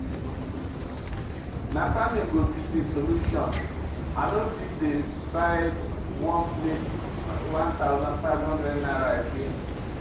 Na farming go be de solution, i no fit dey buy one plate #1500 again.